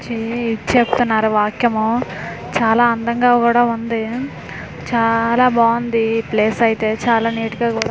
చే చెప్పుతున్నారు వాక్యము చాలా అందంగా కూడా ఉంది చాలా బావుంది ప్లస్ అయితె చాలా నీట్ కుడా--